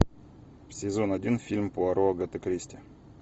сезон один фильм пуаро агаты кристи